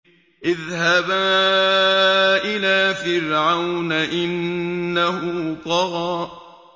اذْهَبَا إِلَىٰ فِرْعَوْنَ إِنَّهُ طَغَىٰ